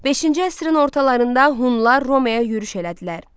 Beşinci əsrin ortalarında Hunlar Romaya yürüş elədilər.